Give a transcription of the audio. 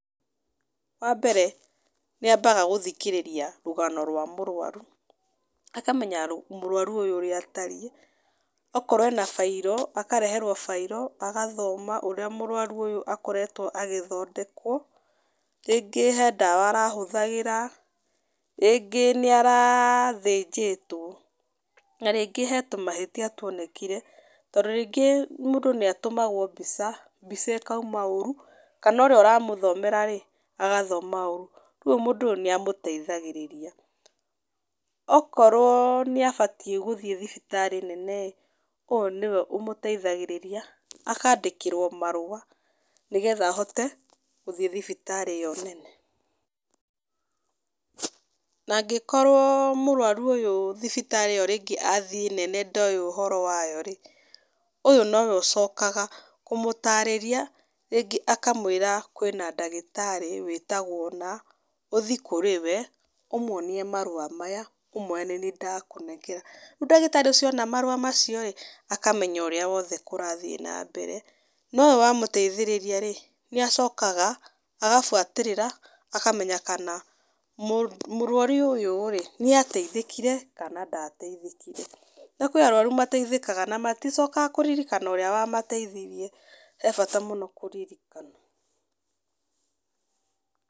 Wa mbere, nĩ ambaga gũthikĩrĩria rũgano rwa mũrwaru, akamenya mũrwaru ũyũ ũrĩa atariĩ, okorwo ena bairo, akareherwo bairo agathoma ũrĩa mũrwaru ũyũ akoretwo agĩthondekwo, rĩngĩ harĩ ndawa arahũthagĩra, rĩngĩ nĩ arathĩnjĩtwo na rĩngĩ harĩ tũmahĩtia twonekire, tondũ rĩngĩ mũndũ nĩ atũmagwo mbica, mbica ĩkauma ũru kana ũrĩa ũramũthomera rĩ, agathoma ũru. Koguo mũndũ ũyũ nĩ amũteithagĩrĩria. O korwo nĩ abatiĩ gũthiĩ thibitarĩ nene rĩ, ũyũ nĩwe ũmũteithagĩrĩria, akandĩkĩrwo marũa, nĩgetha ahote gũthiĩ thibitarĩ ĩyo nene. Na angĩkorwo mũrwaru ũyũ thibitarĩ ĩyo rĩngĩ athiĩ nene ndowĩ ũhoro wayo-rĩ, ũyũ nowe ũcokaga kũmũtarĩria, rĩngĩ akamwĩra kwĩ na ndagĩtarĩ wĩtagwo ũna, ũthiĩ kũrĩ we, ũmuonie marũa maya, ũmwĩre nĩniĩ ndakũnengera. Rĩu ndagĩtarĩ ũcio ona marũa macio rĩ, akamenya ũrĩa wothe kũrathiĩ na mbere no ũyũ wamũteithĩrĩriaa rĩ, nĩ acokaga agabuatĩrĩra, akamenya kana mũrwaru ũyũ rĩ, nĩ ateithĩkire kana ndateithĩkire. Na kũrĩ arwaru mateithĩkaga na maticokaga kũririkana ũrĩa wamateithirie. Harĩ bata mũno kũririkana.